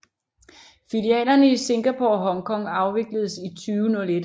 Filialerne i Singapore og Hong Kong afvikledes i 2001